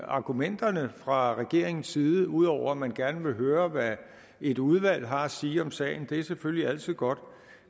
argumenterne fra regeringens side ud over at man gerne vil høre hvad et udvalg har at sige om sagen det er selvfølgelig altid godt